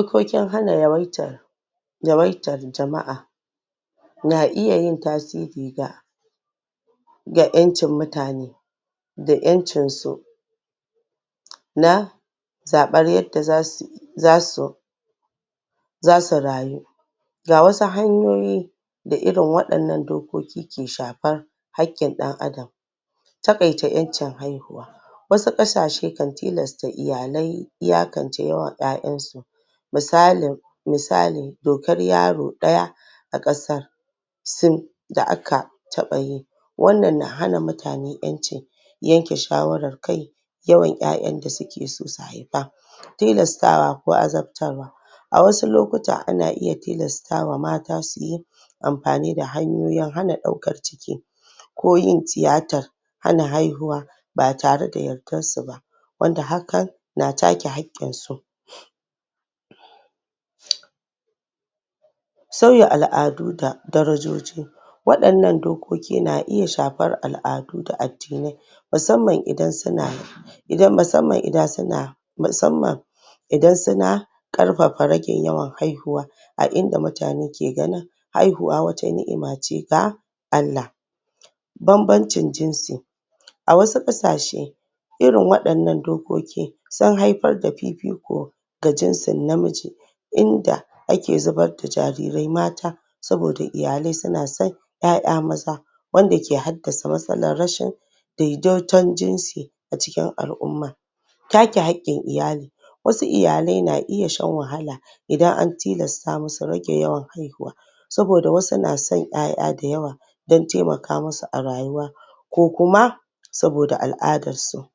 okokin hana yawaitar yawaitar jama'a na iya yin tasiri ga da ƴancin mutane da yancinsu na zabar yadda za su zasu rayu ga wasu hanyoyi da irin waɗannan dokoki ke shafar hakkin ɗan adam taƙaita ƴancin haihuwa wasu ƙasashe kan tilasta iyalai iyakance yawan ƴaƴansu misali dokar yaro daya a kasa sun da aka taba yi wannan na hana mutane ƴancin yanke shawara akai yawan ƴaƴan da sukeso su haifa tilastawa ko azabtarwa a wasu lokuta ana iya tilastawa mata suyi anfani hanyoyin hana daukan ciki ko yin tiyatar hana haiahuwa ba tareda yankansu bah wanda hakan na take haƙƙinsu sauya alʼadu da darajoji waɗannan dokoki na iya shafar alʼadu da addinai Idan suna ƙarfafa ragin yawan haihuwa a inda mutane ke ganin haihuwa wata niʼima ce ga Allah banbancin jinsi a wasu ƙasashe irin waɗannan dokoki sun haifar da fifiko ga jinsin namiji namiji inda ake zubar da jarirai mata saboda iyalai suna son yaya maza wanda ke haddasa matsalar daidaiton jinsi acikkin al'umma Ta ke Hakkin iyali, iyalai na iya shan wahala Idan an tilasta musu rage yawan haihuwa saboda wasu na son ƴaƴa dayawa don taimaka musu a rayuwa ko Kuma saboda alʼadansu.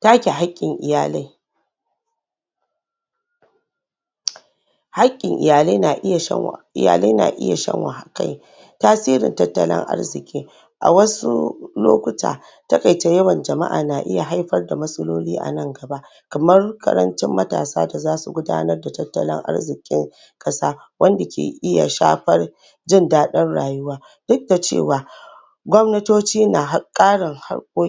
Ta ke Haƙƙin iyalai, haƙƙin iyalai na iya Tasirin tattalin arziƙi a wasu lokuta taƙaita yawan jamaʼa na iya haifar da matsaloli anan gaba kamar ƙarancin matasa da zasu gudanar da tattalin arzikin kasa wanda ke iya shafar jindadin rayuwa duk da cewa gwamnatoci na karin hakkoki